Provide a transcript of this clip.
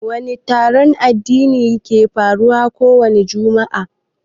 Wani taron addini ke faruwa kowani jumu'a?